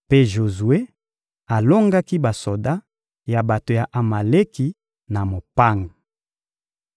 Mpe Jozue alongaki basoda ya bato ya Amaleki na mopanga.